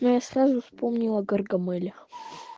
ну сразу вспомнила гаргамеля